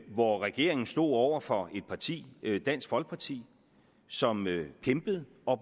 hvor regeringen stod over for et parti dansk folkeparti som kæmpede